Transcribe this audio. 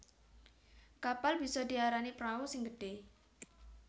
Kapal bisa diarani prau sing gedhé